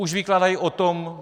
Už vykládají o tom: